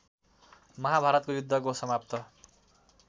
महाभारतको युद्धको समाप्त